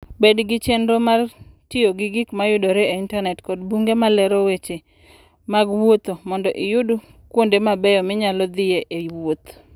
Bed gi chenro mar tiyo gi gik ma yudore e Intanet kod buge ma lero weche mag wuoth mondo iyud kuonde mabeyo minyalo dhiye e wuoth.